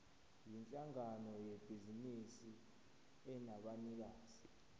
yinhlangano yebhizinisi enabanikazi